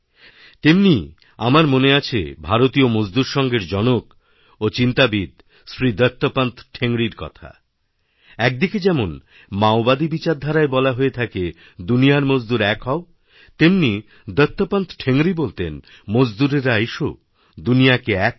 তেমনি আমার মনে আছে ভারতীয় মজদুর সঙ্ঘেরজনক ও চিন্তাবিদ্ শ্রী দত্তোপন্ত ঠেঙ্গড়ি বলতেন একদিকে যেমন মাওবাদী বিচারধারায়বলা হয়ে থাকে দুনিয়ার মজদুর এক হও তেমনি দত্তোপন্ত ঠেঙ্গরি বলতেন মজদুররা এসোদুনিয়াকে এক করো